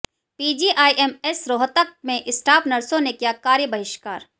PGIMS Rohtak में staff नर्सों ने किया कार्य बहिष्कार